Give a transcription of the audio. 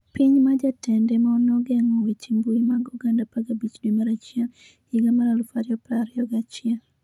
Piny ma jatende nogeng'o weche mbui mag oganda 15 dwe mar achiel higa mar 2021